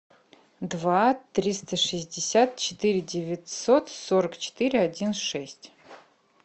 два триста шестьдесят четыре девятьсот сорок четыре один шесть